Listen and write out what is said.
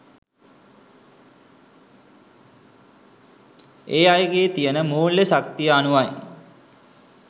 ඒ අයගෙ තියෙන මූල්‍ය ශක්තිය අනුවයි.